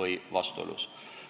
või vastuolus.